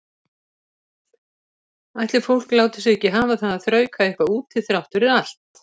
Ætli fólk láti sig ekki hafa það að þrauka eitthvað úti þrátt fyrir allt.